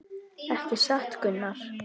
Ekki satt Gunnar?